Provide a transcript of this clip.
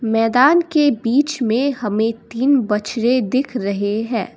मैदान के बीच में हमें तीन बछड़े दिख रहे हैं।